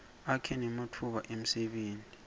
akha nematfuba emsebenti